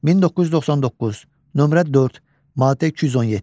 1999, nömrə 4, maddə 217.